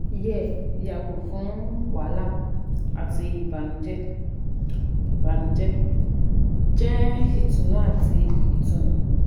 Yẹ yago fun wahala ati ibanujẹ, ibanujẹ, jẹ itunu ati itunu